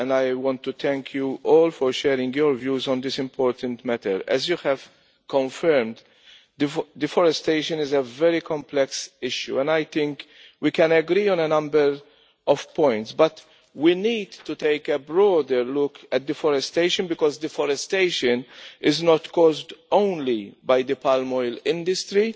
I would like to thank you all for sharing your views on this important matter. As you have confirmed, deforestation is a very complex issue and I think we can agree on a number of points. But we need to take a broader look at deforestation because it is not caused only by the palm oil industry.